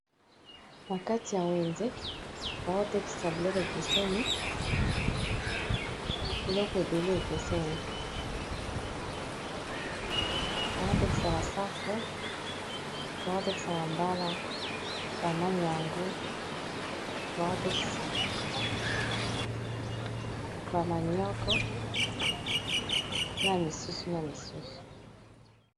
Na kati ya wenze bazo tekisa biloko ekeseni, biloko ebele bazo tekisa basafu, ba mbala, ba masangu, ba manioc na misusu.